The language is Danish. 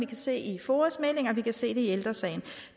kan se i foas meldinger og vi kan se det i ældre sagen